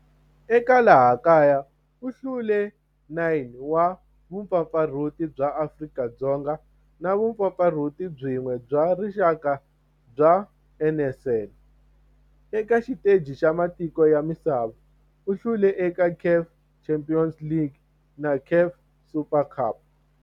Eka laha kaya u hlule 9 wa vumpfampfarhuti bya Afrika-Dzonga na vumpfampfarhuti byin'we bya rixaka bya NSL. Eka xiteji xa matiko ya misava, u hlule eka CAF Champions League na CAF Super Cup.